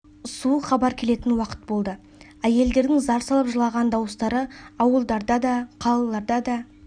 суық хабар келетін уақыт болды әйелдердің зар салып жылаған дауыстары ауылдарда да қалалар да да